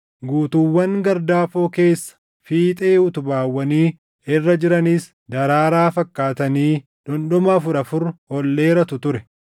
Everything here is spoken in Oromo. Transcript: Guutuuwwan gardaafoo keessa fiixee utubaawwanii irra jiranis daraaraa fakkaatanii dhundhuma afur afur ol dheeratu ture.